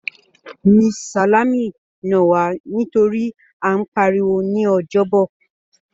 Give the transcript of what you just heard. Mrs. Salami nà wá nítorí à ń pariwo ní Ọjọ́bọ̀.